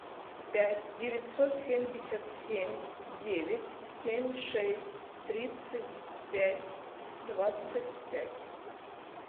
пять девятьсот семьдесят семь девять семь шесть тридцать пять двадцать пять